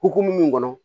Hokumu mun kɔnɔ